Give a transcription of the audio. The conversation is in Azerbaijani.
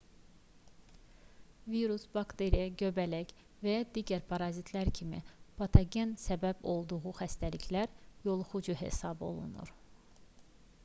virus bakteriya göbələk və ya digər parazitlər kimi bir patogenin səbəb olduğu xəstəliklər yoluxucu hesab olunur